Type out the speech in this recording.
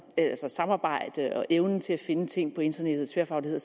samarbejde har evnen til at finde ting på internettet tværfaglighed